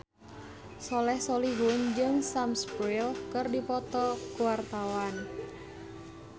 Soleh Solihun jeung Sam Spruell keur dipoto ku wartawan